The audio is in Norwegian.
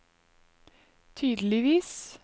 tydeligvis